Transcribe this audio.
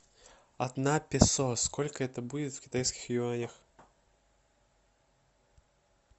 одна песо сколько это будет в китайских юанях